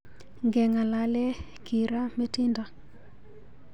Ngeng'alale kiraa metindo .